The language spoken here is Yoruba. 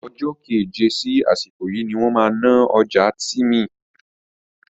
Ọjọ́ keje sí àsìkò yìí ni wọ́n máa náà ọjà Tìmì